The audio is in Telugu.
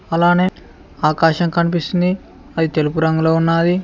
అలానే ఆకాశం కనిపిస్తుంది అది తెలుపు రంగులో ఉన్నాది.